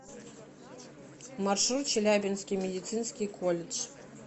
маршрут челябинский медицинский колледж